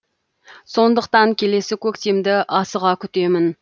сондықтан келесі көктемді асыға күтемін